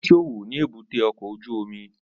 Ó ń ṣòwò ni èbúté ọkọ̀ ojú omi